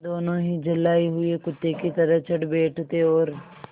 दोनों ही झल्लाये हुए कुत्ते की तरह चढ़ बैठते और